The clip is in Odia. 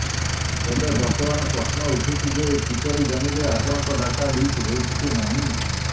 ତେବେ ବର୍ତ୍ତମାନ ପ୍ରଶ୍ନ ଉଠୁଛି ଯେ କିପରି ଜାଣିବେ ଆପଣଙ୍କ ଡାଟା ଲିକ ହେଉଛି କି ନାହିଁ